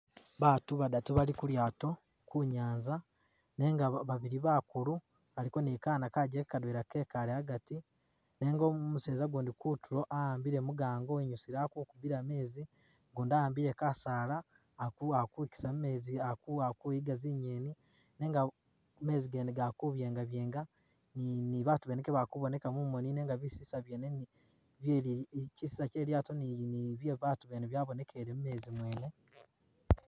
Battu badatu bali kulyaato kunyanza nenga ba babili bakulu baliko ni kana kajjeke kadwela kekale agati, nenga umuseza gundi kutulo, a'ambile mugango inyusile akukubiila mezi ,ugundi a'ambile kasaala Ali kuafutiza mumezi Ali kuwa Ali kuyiga zinyenyi nenga mezi gene gali kubyenga byenga ni ni battu bene kebalikuboneka mumoni nenga bisesa byene bi bileyi bi, kisesa kye lyaato ni ni bye babatu lyabonekele mulyaato lyene